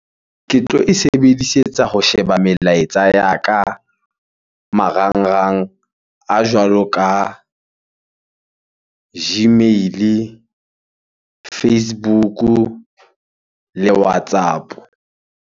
Ke tlo e sebedisetsa ho sheba melaetsa ya ka marangrang a jwalo ka Gmail Facebook le WhatsApp.